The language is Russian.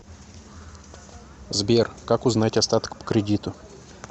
сбер как узнать остаток по кредиту